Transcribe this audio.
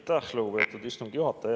Aitäh, lugupeetud istungi juhataja!